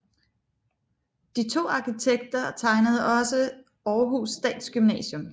De to arkitekter tegnede også Århus Statsgymnasium